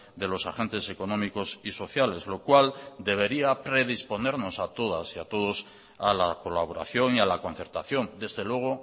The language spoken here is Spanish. de los agentes económicos y sociales lo cual debería predisponernos a todas y a todos a la colaboración y a la concertación desde luego